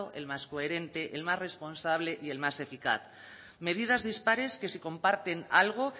el más coherente el más responsable y el más eficaz medidas dispares que si comparten algo